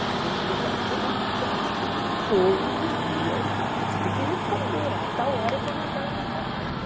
Se você é empregado de jornal, você tem que escrever todos os dias, você tem que responder, a tal hora a tua matéria tem que estar pronta.